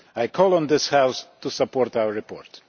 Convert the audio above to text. I call on this House to support our report.